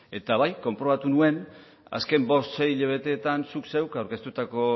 ezta eta bai konprobatu nuen azken bost sei hilabeteetan zu zeuk aurkeztutako